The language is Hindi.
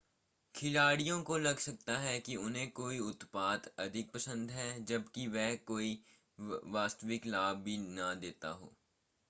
खिलाड़ियों को लग सकता है कि उन्हें कोई उत्पाद अधिक पसंद हैं जबकि वह कोई वास्तविक लाभ भी न देता हो